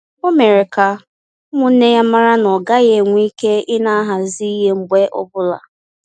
Ọ mere ka ụmụnne ya mara na-ọ gaghị enwe ike ina ahazi ihe mgbe ọbụla